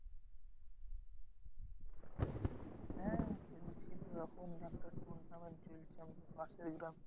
হ্যাঁ খেলছি তো ওরকম একটা tournament চলছে আমাদের পাশের গ্রামে।